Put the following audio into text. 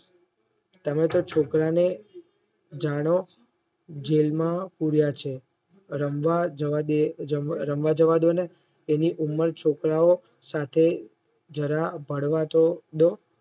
તમે તો છોકરાને જાણો જેલમાં પૂર્યા છે રમવા જવાદે રમવા જવાદોને એની ઉમર છોકરાઓ સાથે જરા ભરવા તો દો